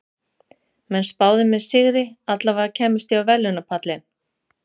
Menn spáðu mér sigri, allavega kæmist ég á verðlaunapallinn.